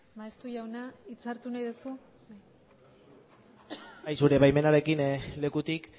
maeztu jauna hitza hartu nahi duzu bai zure baimenarekin lekutik